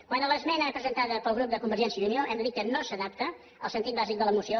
quant a l’esmena presentada pel grup de convergència i unió hem de dir que no s’adapta al sentit bàsic de la moció